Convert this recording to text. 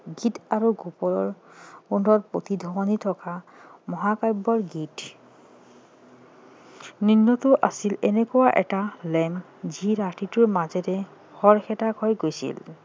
গীত আৰু গোলাপৰ গোন্ধৰ প্ৰতিধ্বনি থকা মহাকাব্যৰ গীত আছিল এনেকুৱা এটা lamp যি ৰাতিটোৰ মাজেৰে খৰখেদাকৈ গৈছিল